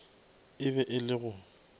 e be e le go